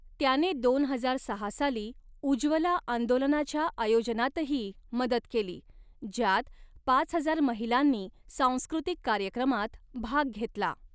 त्याने दोन हजार सहा साली 'उज्ज्वला आंदोलना'च्या आयोजनातही मदत केली, ज्यात पाच हजार महिलांनी सांस्कृतिक कार्यक्रमात भाग घेतला.